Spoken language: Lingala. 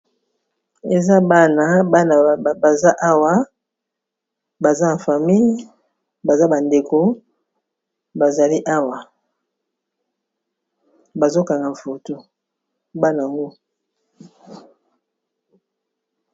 Oyo eza bana bana baza awa baza en famille baza bandeko bazali awa bazokanga foto bana ango.